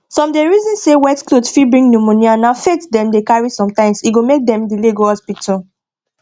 some dey reason say wet cloth fit bring pneumonia na faith dem dey carry sometimes e go make dem delay go hospital